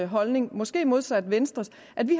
holdning måske modsat venstres at vi